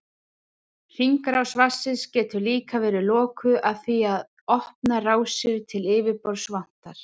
Hringrás vatnsins getur líka verið lokuð af því að opnar rásir til yfirborðs vantar.